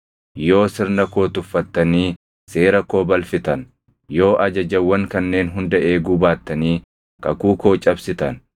yoo sirna koo tuffattanii seera koo balfitan, yoo ajajawwan kanneen hunda eeguu baattanii kakuu koo cabsitan,